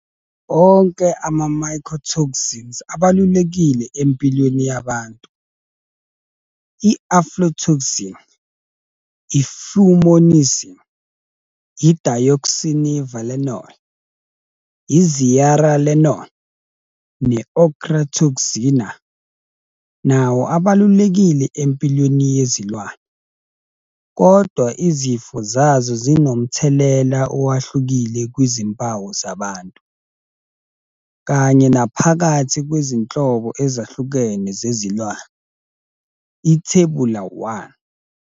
Onke ama-mycotoxins abalulekile empilweni yabantu, i-aflotoxin, i-fumonisin, i-deoxynivalenol, i-zearalenone ne-ochratoxin A, nawo abalulekile empilweni yezilwane, kodwa izifo zazo zinomthelela owahlukile kwizimpawu zabantu, kanye naphakathi kwezinhlobo ezahlukene zezilwane, Ithebula 1.